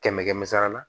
Kɛmɛ kɛmɛ sara la